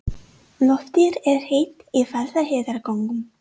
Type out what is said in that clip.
Loftið er heitt í Vaðlaheiðargöngum.